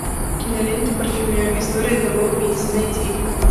кинолента парфюмер история одного убийцы найди